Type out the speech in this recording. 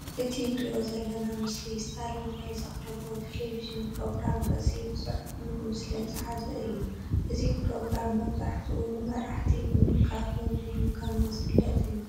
እቲ ንሪኦ ዘለና ምስሊ ስታሊን ናይ ዘቕርቦ ቴለቪዥራ ፕሮግራም ርእሲ ብፅሑፉን ብምስልን ዝሓዘ እዩ፡፡ እዚ ፕሮግራም መብዛሕትኡ ንመራሕቲ ብምንቃፍን ምግምጋምን ዝፍለጥ እዩ፡፡